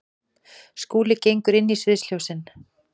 Skúli gengur inn í sviðsljósin.